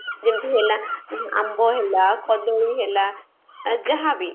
ଯେମତି ହେଲା ଆମ୍ବ ହେଲା କଦଳୀ ହେଲା ଯାହା ବି